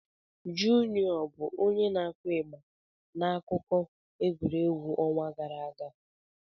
Juniọ bụ onye na-akụ ịgba n'akụkọ egwuregwu ọnwa gara aga?